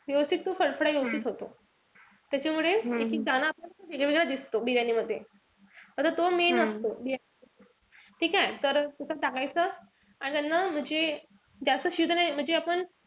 व्यवस्थित तो खडखडा व्यवस्थित होतो . त्याच्यामुळे एकेक दाना दिसतो बिर्याणीमध्ये. आता तो main असतो. ठीकेय? तर असं टाकायचं. आणि याना म्हणजे जास्त शिजन म्हणजे आपण,